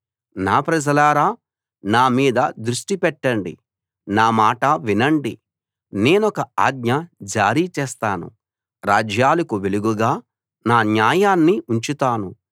నా ప్రజలారా నా మీద దృష్టి పెట్టండి నా మాట వినండి నేనొక ఆజ్ఞ జారీ చేస్తాను రాజ్యాలకు వెలుగుగా నా న్యాయాన్ని ఉంచుతాను